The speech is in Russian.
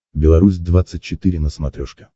беларусь двадцать четыре на смотрешке